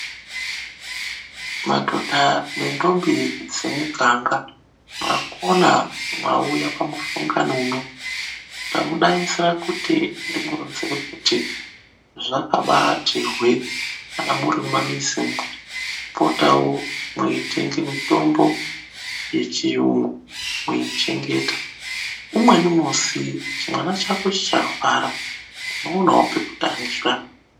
Madhodha nentombi dzemuhanga mwakona mwauya kumusangano uno tamudainzira kuti zvakabati hwee kana muri mumamizi mwenyu kupotawo mweitenge mitombo yechiyungu mweichengeta umweni musi chimwana chako chikarwara unoonawo pekutangira.